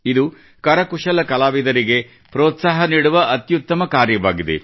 ಇದು ಕರಕುಶಲ ಕಲಾವಿದರಿಗೆ ಪ್ರೋತ್ಸಾಹ ನೀಡುವ ಅತ್ಯುತ್ತಮ ಕಾರ್ಯಕ್ರಮವಾಗಿದೆ